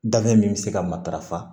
Danbe min bɛ se ka matarafa